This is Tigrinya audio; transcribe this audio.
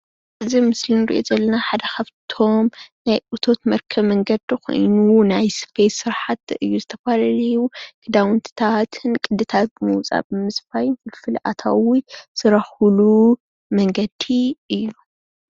እዚ ኣብ ምስሊ እንሪኦ ዘለና ሓደ ካብቶም ናይ እቶት መርከቢ መንገዲ ኾይኑ ናይ ሰፌት ስራሕቲ እዩ። ናይ ዝተፈላለዩ ኽዳውንትታት ን ቅድታትን ብምውፃእ ብምስፋይን ኽፍሊ ኣታዊ ዝርኽብሉ መንገዲ እዩ።